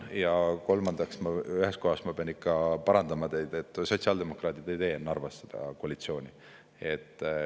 Ja kolmandaks, ma ühes kohas pean ikka parandama teid, et sotsiaaldemokraadid ei tee Narvas seda koalitsiooni.